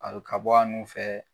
Al ka bɔ nun fɛ